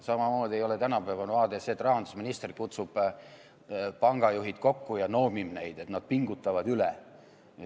Samamoodi ei ole tänapäevane vaade see, kui rahandusminister kutsub pangajuhid kokku ja noomib neid, et nad pingutavad üle.